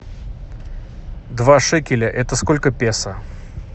два шекеля это сколько песо